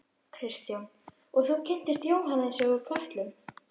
Kristján: Og þú kynntist Jóhannesi úr Kötlum?